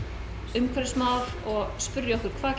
umhverfismál og spyrja okkur hvað